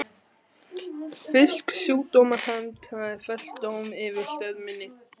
Fremur yrði litið svo á að ég sýndi lög